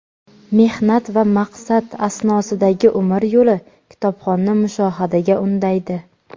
mehnat va maqsad asnosidagi umr yo‘li kitobxonni mushohadaga undaydi.